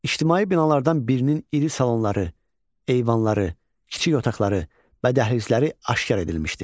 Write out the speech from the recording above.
İctimai binalardan birinin iri salonları, eyvanları, kiçik otaqları və dəhlizləri aşkar edilmişdi.